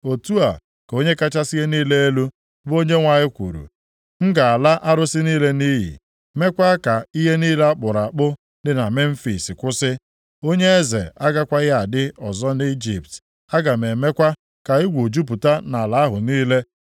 “ ‘Otu a ka Onye kachasị ihe niile elu, bụ Onyenwe anyị kwuru, “ ‘M ga-ala arụsị niile nʼiyi, mekwaa ka ihe niile a kpụrụ akpụ dị na Memfis kwụsị. Onye eze agakwaghị adị ọzọ nʼIjipt, aga m emekwa ka egwu jupụta nʼala ahụ niile.